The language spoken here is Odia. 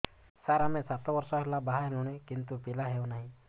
ସାର ଆମେ ସାତ ବର୍ଷ ହେଲା ବାହା ହେଲୁଣି କିନ୍ତୁ ପିଲା ହେଉନାହିଁ